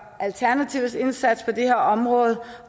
alternativets indsats på det her område